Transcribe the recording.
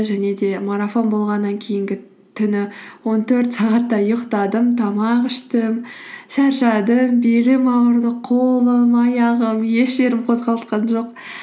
және де марафон болғаннан кейінгі түні он төрт сағаттай ұйықтадым тамақ іштім шаршадым белім ауырды қолым аяғым еш жерім қозғалтқан жоқ